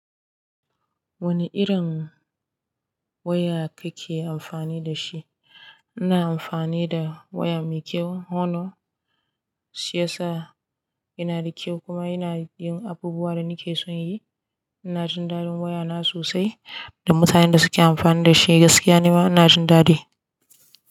Wane irin waya kake amfani da shi? Ina amfani da waya mai kyau. Hono shi yasa yana da kyau kuma yana yin abubuwan da nake son yi. Ina jin dadin waya na sosai da mutanen da suke amfani da shi gaskiya nima ina jin dadi.